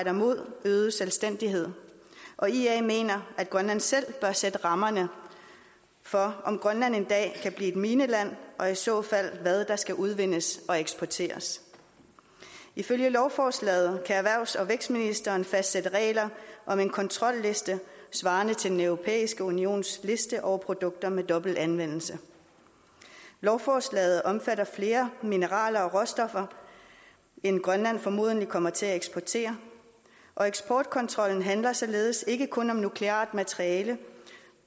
imod øget selvstændighed og ia mener at grønland selv bør sætte rammerne for om grønland en dag kan blive et mineland og i så fald hvad der skal udvindes og eksporteres ifølge lovforslaget kan erhvervs og vækstministeren fastsætte regler om en kontrolliste svarende til den europæiske unions liste over produkter med dobbelt anvendelse lovforslaget omfatter flere mineraler og råstoffer end grønland formodentlig kommer til at eksportere og eksportkontrollen handler således ikke kun om nukleart materiale